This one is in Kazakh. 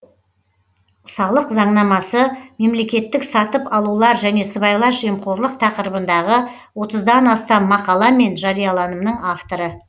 салық заңнамасы мемлекеттік сатып алулар және сыбайлас жемқорлық тақырыбындағы отыздан астам мақала мен жарияланымның авторы